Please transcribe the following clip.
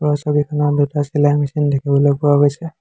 ওপৰৰ ছবিখনত দুটা চিলাই মেচিন দেখিবলৈ পোৱা গৈছে।